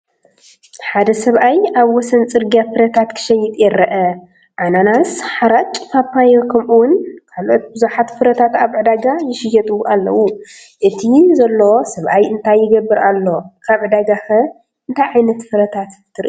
ሓደ ሰብኣይ ኣብ ወሰን ጽርግያ ፍረታት ክሸይጥ ይርአ። ኣናናስ፡ ሓርጭ፡ ፓፓዮ፡ ከምኡ’ውን ካልኦት ብዙሓት ፍረታት ኣብ ዕዳጋ ይሽየጡ ኣለዉ። እቲ ዘሎ ሰብኣይ እንታይ ይገብር ኣሎ? ኣብ ዕዳጋከ እንታይ ዓይነት ፍረታት ትርኢ?